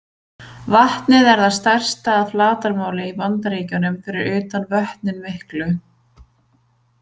Vatnið er það stærsta að flatarmáli í Bandaríkjunum fyrir utan Vötnin miklu.